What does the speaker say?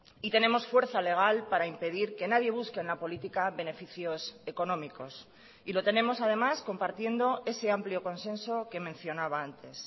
y tenemos fuerza legal para impedir que nadie busque en la política beneficios económicos y lo tenemos además compartiendo ese amplio consenso que mencionaba antes